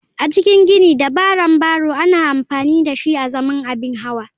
A cikin ginin dabaran barrow ana amfani dashi azaman abin hawa.